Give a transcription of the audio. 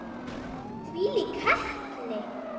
Þvílík heppni!